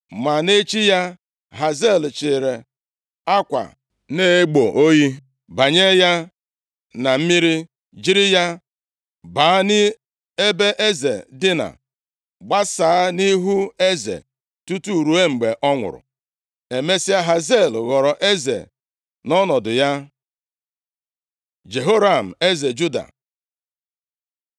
Ma nʼechi ya, Hazael chịịrị akwa na-egbo oyi, banye ya na mmiri jiri ya baa nʼebe eze dina, gbasaa ya nʼihu eze, tutu ruo mgbe ọ nwụrụ. Emesịa, Hazael ghọrọ eze nʼọnọdụ ya. Jehoram eze Juda